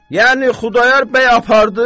Yəni Xudayar bəy apardı?